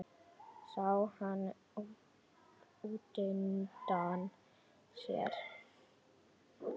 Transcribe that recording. Sá hann útundan sér.